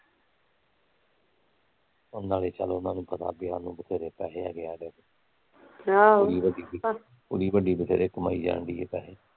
ਨਾਲੇ ਚੱਲ ਉਹਨਾਂ ਨੂੰ ਪਤਾ ਵਿਆ ਆ ਇਹਨਾਂ ਕੋਲ ਵਧੇਰੇ ਪੈਸੇ ਆ ਕੁੜੀ ਵੱਡੀ ਵਧੇਰੇ ਕਮਾਈ ਜਾਣ ਡਈ ਆ ਪੈਸੇ